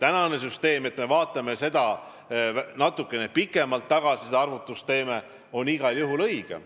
Nüüd me vaatame seda arvutust tehes natukene pikemalt tagasi ja see on igal juhul õigem.